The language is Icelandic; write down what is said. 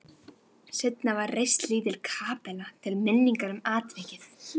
Seinna var reist lítil kapella til minningar um atvikið.